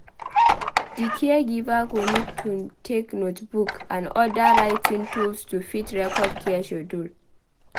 Di caregiver go need to get notebook and oda writing tools to fit record care schedule